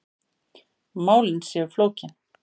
Málin séu flókin.